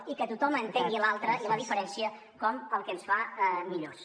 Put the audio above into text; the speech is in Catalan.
i que tothom entengui l’altre i la diferència com el que ens fa millors